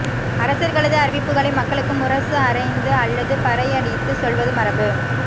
அரசர்களது அறிவிப்புகளை மக்களுக்கு முரசு அறைந்து அல்லது பறையடித்துச் சொல்வது மரபு